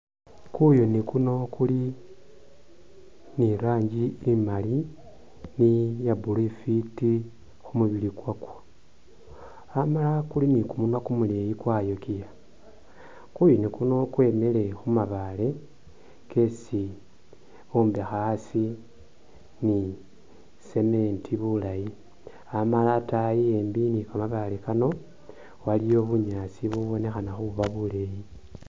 Kuyuni kuno kuli ni i'rangi imali ni iya blue ifwiti khu mubili khwako, amala kuli ni kumunwa kumuleeyi kwayokiya. Amala kuyuni kuno kwemile khu mabaale kesi bombekha asi ni cement bulayi, anala ataayi embi ni kamabaale kano, waliwo bunyaasi bubonekhana khuba buleeyi.